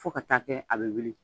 Fo ka taa kɛ a bɛ wuli.